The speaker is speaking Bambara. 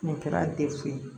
Nin kɛra ye